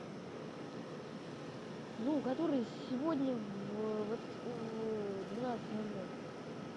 ну который сегодня в двенадцать ноль ноль